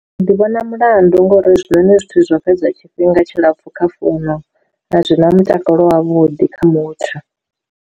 Ndi vhona mulandu ngori zwone zwithu zwo fhedza tshifhinga tshilapfu kha founu a zwi na mutakalo wavhuḓi kha muthu.